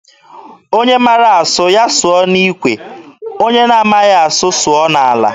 Onye mara asụ, ya sụọ n'ikwe, ọ maghị asụ, ya sụọ n'ala.